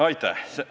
Aitäh!